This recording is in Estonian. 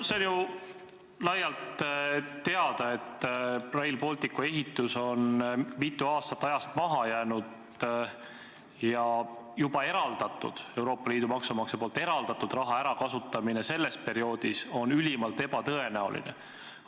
See on ju laialt teada, et Rail Balticu ehitus on mitu aastat ajakavast maha jäänud ja Euroopa Liidu maksumaksja poolt juba eraldatud raha ärakasutamine selle perioodi jooksul on ülimalt ebatõenäoline.